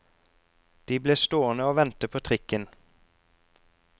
De ble stående å vente på trikken.